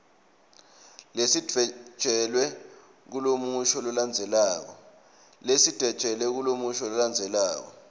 lesidvwetjelwe kulomusho lolandzelako